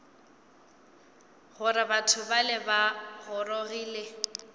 gore batho bale ba gorogile